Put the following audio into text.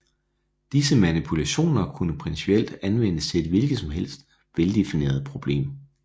Disse manipulationer kunne principielt anvendes til et hvilket som helst veldefineret problem